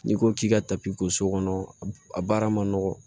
N'i ko k'i ka so kɔnɔ a baara ma nɔgɔn